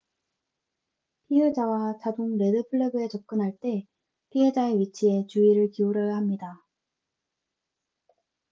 피해자와 자동 레드 플래그에 접근할 때 피해자의 위치에 주의를 기울여야 합니다